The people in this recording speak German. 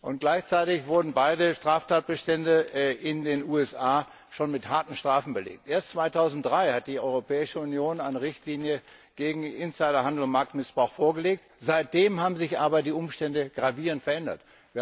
Und gleichzeitig wurden beiden Straftatbestände in den USA schon mit harten Strafen belegt. Erst 2003 hat die Europäische Union eine Richtlinie gegen Insider Handel und Marktmissbrauch vorgelegt. Seitdem haben sich die Umstände aber gravierend verändert.